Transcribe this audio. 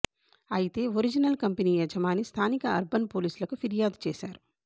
అయితే original company యజమాని స్థానిక అర్బన్ పోలీసులకు ఫిర్యాదు చేశారు